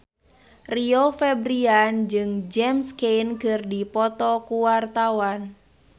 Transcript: Rio Febrian jeung James Caan keur dipoto ku wartawan